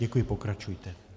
Děkuji, pokračujte.